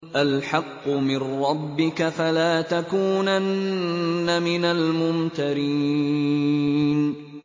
الْحَقُّ مِن رَّبِّكَ ۖ فَلَا تَكُونَنَّ مِنَ الْمُمْتَرِينَ